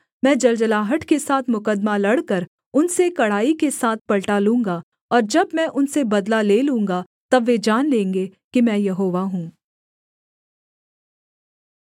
मैं जलजलाहट के साथ मुकद्दमा लड़कर उनसे कड़ाई के साथ पलटा लूँगा और जब मैं उनसे बदला ले लूँगा तब वे जान लेंगे कि मैं यहोवा हूँ